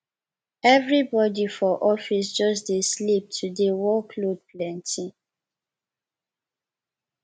everybody for office just dey sleep today work load plenty